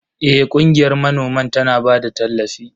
Eh, ƙungiyar manoman tana ba da tallafi.